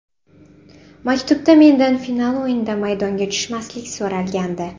Maktubda mendan final o‘yinida maydonga tushmaslik so‘ralgandi.